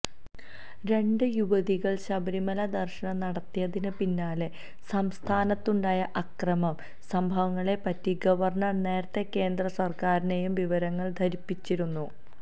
രണ്ട് യുവതികൾ ശബരിമല ദർശനം നടത്തിയതിന് പിന്നാലെ സംസ്ഥാനത്തുണ്ടായ അക്രമ സംഭവങ്ങളെപ്പറ്റി ഗവർണർ നേരത്തെ കേന്ദ്ര സർക്കാരിനെയും വിവരങ്ങൾ ധരിപ്പിച്ചിരുന്നു